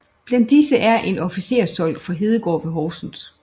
Blandt disse er en officersdolk fra Hedegård ved Horsens